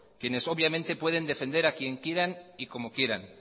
quienes obviamente pueden defender a quien quieran y como quieran